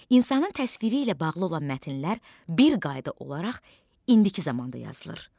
İnsanın təsviri ilə bağlı olan mətnlər bir qayda olaraq indiki zamanda yazılır.